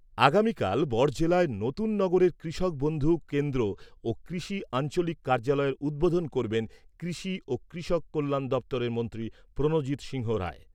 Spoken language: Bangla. আগামীকাল বড়জলায় নতুননগরের কৃষক বন্ধু কেন্দ্র ও কৃষি আঞ্চলিক কার্যালয়ের উদ্বোধন করবেন কৃষি ও কৃষক কল্যাণ দপ্তরের মন্ত্রী প্রণজিৎ সিংহ রায়।